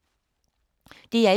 DR1